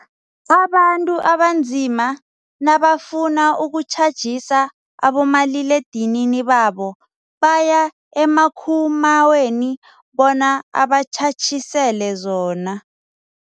Abantu abanzima nabafuna ukutjhajisa abomaliledinini babo baya emakhumaweni bona abatjhatjhisele zona.